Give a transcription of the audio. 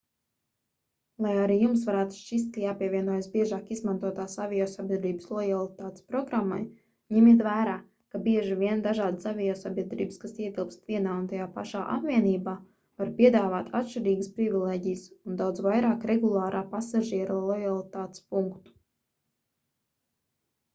lai arī jums varētu šķist ka jāpievienojas biežāk izmantotās aviosabiedrības lojalitātes programmai ņemiet vērā ka bieži vien dažādas aviosabiedrības kas ietilpst vienā un tajā pašā apvienībā var piedāvāt atšķirīgas privilēģijas un daudz vairāk regulārā pasažiera lojalitātes punktu